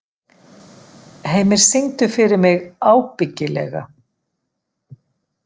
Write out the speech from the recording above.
Heimir, syngdu fyrir mig „Ábyggilega“.